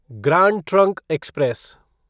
grand Trunk express